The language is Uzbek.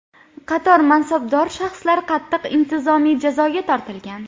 Qator mansabdor shaxslar qattiq intizomiy jazoga tortilgan.